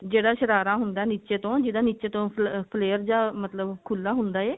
ਜਿਹੜਾ ਸ਼ਰਾਰਾ ਹੁੰਦਾ ਨਿੱਚੇ ਤੋਂ ਜਿਦਾਂ ਨਿੱਚੇ ਤੋਂ flair ਜਾ ਮਤਲਬ ਖੁੱਲਾ ਹੁੰਦਾ ਹੈ